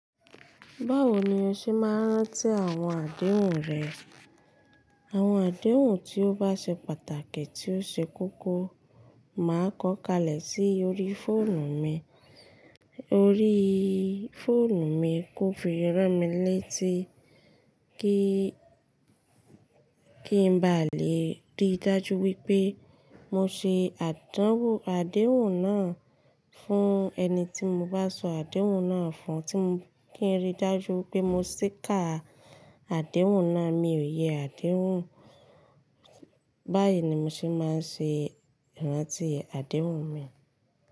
Báwo ni o ṣe máa ń rántí àwọn àdéhùn rẹ? Àwọn àdéhùn tí ó bá ṣe pàtàkì tí ó ṣe kókó, màá kọ kalẹ̀ sí orí fóònù mi. Orí fóònù mi kò fi rán mí léti kí, kí n ba lè rí dájú wípé mo ṣe àdéhùn náà fún ẹni tí mo bá sọ àdéhùn náà fún, kí n rí dájú wípé mo ṣì kà àdéhùn náà. Mi ò yẹ àdéhùn. Báyìí ni mo ṣe máa ń ṣe ìrántí àdéhùn mi.